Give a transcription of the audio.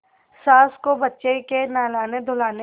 सास को बच्चे के नहलानेधुलाने